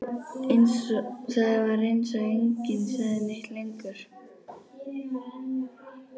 Það var eins og enginn segði neitt lengur.